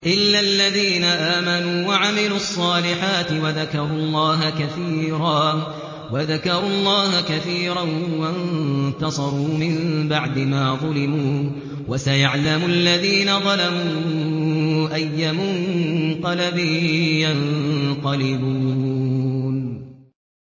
إِلَّا الَّذِينَ آمَنُوا وَعَمِلُوا الصَّالِحَاتِ وَذَكَرُوا اللَّهَ كَثِيرًا وَانتَصَرُوا مِن بَعْدِ مَا ظُلِمُوا ۗ وَسَيَعْلَمُ الَّذِينَ ظَلَمُوا أَيَّ مُنقَلَبٍ يَنقَلِبُونَ